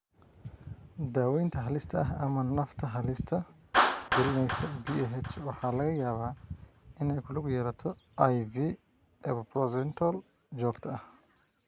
Daawaynta halista ah ama nafta halis gelinaysa PAH waxa laga yaabaa inay ku lug yeelato IV epoprostenol joogto ah.